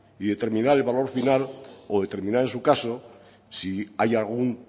y determinar el valor final o determinar en su caso si hay algún